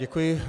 Děkuji.